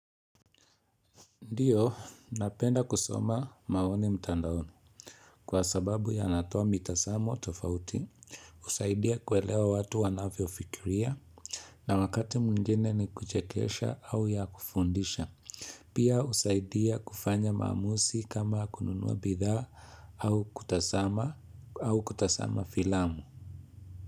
Ndiyo, napenda kusoma maoni mtandaoni Kwa sababu yanatoa mitazamo tofauti, husaidia kuelewa watu wanavyofikiria. Na wakati mwingine ni kuchekesha au ya kufundisha. Pia husaidia kufanya mamuuzi kama kununua bidhaa au kutazama au kutazama filamu.